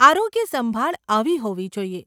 આરોગ્ય સંભાળ આવી હોવી જોઈએ.